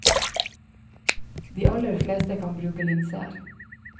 De aller fleste kan bruke linser.